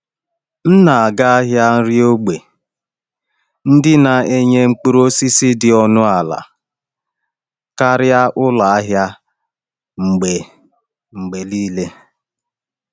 M na-aga ahịa nri ógbè ndị na-enye mkpụrụ osisi dị ọnụ ala karịa ụlọ ahịa mgbe mgbe niile.